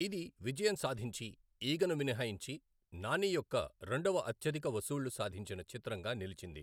ఇది విజయం సాధించి, ఈగను మినహాయించి, నాని యొక్క రెండవ అత్యధిక వసూళ్లు సాధించిన చిత్రంగా నిలిచింది.